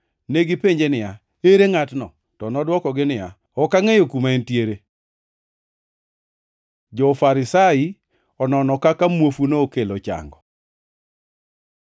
Negipenje niya, “Ere ngʼatno?” To nodwokogi niya, “Ok angʼeyo kuma entiere.” Jo-Farisai onono kaka muofuni okelo chango